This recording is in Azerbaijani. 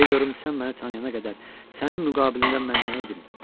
Görüm sən məni tanıyana qədər sənin müqabilində mən nə idim?